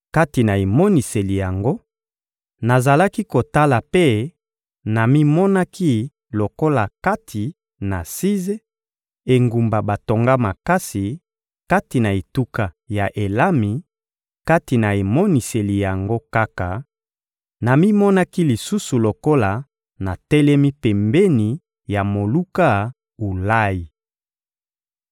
Kati na emoniseli yango, nazalaki kotala mpe namimonaki lokola kati na Size, engumba batonga makasi, kati na etuka ya Elami; kati na emoniseli yango kaka, namimonaki lisusu lokola natelemi pembeni ya moluka Ulayi.